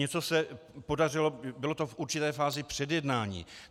Něco se podařilo, bylo to v určité fázi předjednání.